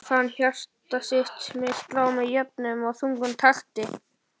Hann fann hjarta sitt slá með jöfnum og þungum takti.